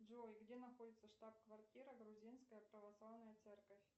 джой где находится штаб квартира грузинская православная церковь